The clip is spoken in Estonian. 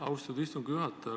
Austatud istungi juhataja!